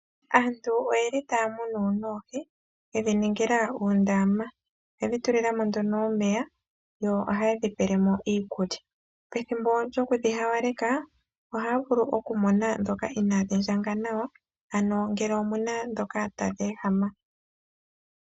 Aantu oyeli taya munu oohi yedhi ningila uundama . Oyedhi tulilamo nduno omeya yo oha yedhi tulilemo iikulya. Pethimbo lyoku dhi hawalekwa ohaya vulu okumona ndhoka inadhi ndjanga nawa ano ngele omuna ndhoka tadhi ehama.